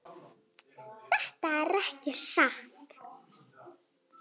Þetta er ekki satt!